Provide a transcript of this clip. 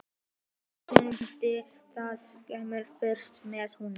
sem í andarslitrunum vildi að heimurinn færist með honum.